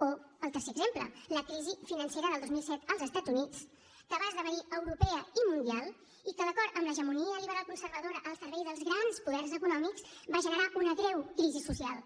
o el tercer exemple la crisi financera del dos mil set als estats units que va esdevenir europea i mundial i que d’acord amb l’hegemonia liberal conservadora al servei dels grans poders econòmics va generar una greu crisi social